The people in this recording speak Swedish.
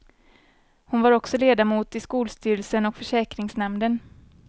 Hon var också ledamot i skolstyrelsen och försäkringsnämnden.